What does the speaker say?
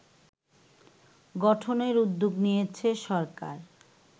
গঠনের উদ্যোগ নিয়েছে সরকার